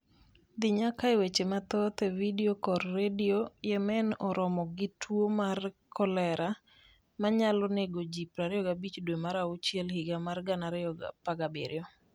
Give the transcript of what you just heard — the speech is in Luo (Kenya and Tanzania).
Dhi nyaka e weche mathoth e vidio kod redio Yemen oromo gi tuwo mar kolera ma nyalo nego ji 25 dwe mar auchiel higa mar 2017